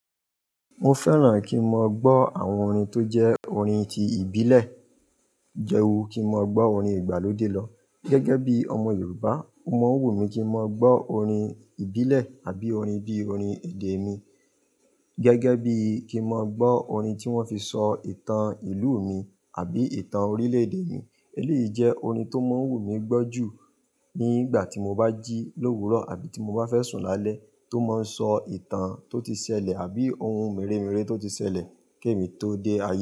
Mo fẹ́ràn kí n máa gbọ́ àwọn orin tó jẹ́ orin ti ìbílẹ̀. Jẹ́wó kí n máa gbọ́ orin ìgbàlódé lọ. Gẹ́gẹ́ bí i ọmọ Yorùbá, ó máa ń wù mí kí n máa gbọ́ orin ìbílẹ̀ àbí orin bí i orin èdè mi. Gẹ́gẹ́ bí i kí n máa gbọ́ orin tí wọ́n fi sọ ìtàn ìlú mi àbí ìtàn orílẹ̀-èdè mi. Èleyí jẹ́ orin tó máa ń wù mí gbọ́ jù nígbà tí mo bá jí l'òwúrò àbí tí mo bá fẹ́ sùn lálẹ́ tó máa ń sọ ìtàn tó ti ṣẹlẹ̀ àbí ohun mèremère tó ti ṣẹlẹ̀ kí èmi tó dé ayé.